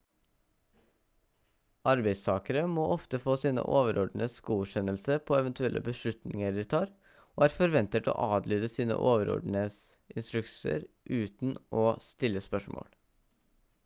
arbeidstakere må ofte få sine overordnedes godkjennelse på eventuelle beslutninger de tar og er forventet å adlyde sine overordnedes instruksjoner uten å stille spørsmål